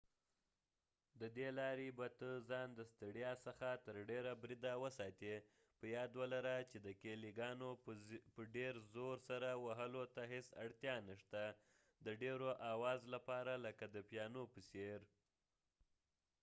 ددې لارې به ته ځان د ستړیا څخه تر ډیره بریده وساتي په یاد ولره چې د کېلی ګانو په ډیر زور سره وهلو ته هیڅ اړتیا نه شته د ډیر اواز لپاره لکه د پیانو په څیر